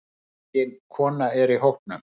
Engin kona er í hópnum.